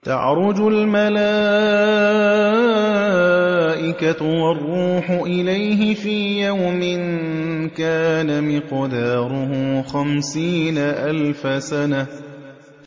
تَعْرُجُ الْمَلَائِكَةُ وَالرُّوحُ إِلَيْهِ فِي يَوْمٍ كَانَ مِقْدَارُهُ خَمْسِينَ أَلْفَ سَنَةٍ